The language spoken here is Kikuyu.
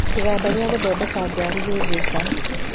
Kĩganda gĩa gũthondeka ngari gĩ Thĩka